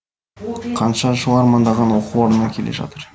қанша жыл армандаған оқу орнына келе жатыр